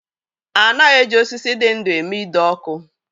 A naghị eji osisi dị ndú eme ide ọkụ.